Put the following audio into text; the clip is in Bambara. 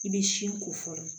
I bɛ si ko fɔlɔ